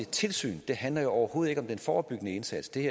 tilsynet det handler jo overhovedet ikke om den forebyggende indsats det